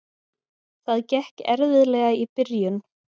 Það gekk erfiðlega í byrjun.